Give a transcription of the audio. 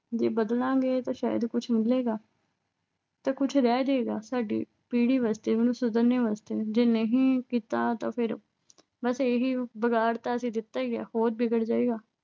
ਜੇ ਬਦਲਾਂਗੇ ਤਾਂ ਸ਼ਾਇਦ ਕੁਛ ਮਿਲੇਗਾ ਤੇ ਕੁਛ ਰਹਿ ਜਾਏਗਾ ਸਾਡੀ ਪੀੜ੍ਹੀ ਵਾਸਤੇ। ਉਹਨੂੰ ਛੱਡਣ ਵਾਸਤੇ। ਜੇ ਨਹੀਂ ਕੀਤਾ ਤਾਂ ਫਿਰ, ਬਸ ਇਹੀ ਆ। ਵਿਗਾੜ ਤਾਂ ਅਸੀਂ ਦਿੱਤਾ ਈ ਆ। ਹੋਰ ਵਿਗੜ ਜਾਏਗਾ।